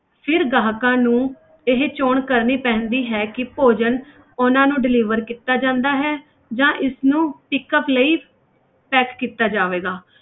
ਫਿਰ ਗਾਹਕਾਂ ਨੂੰ ਇਹ ਚੋਣ ਕਰਨੀ ਪੈਂਦੀ ਹੈ ਕਿ ਭੋਜਨ ਉਹਨਾਂ ਨੂੰ deliver ਕੀਤਾ ਜਾਂਦਾ ਹੈ ਜਾਂ ਇਸਨੂੰ pickup ਲਈ pack ਕੀਤਾ ਜਾਵੇਗਾ।